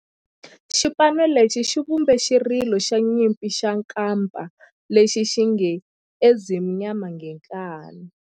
Xipano lexi xi vumbe xirilo xa nyimpi xa kampa lexi nge 'Ezimnyama Ngenkani'.